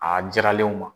A diyara ne o ma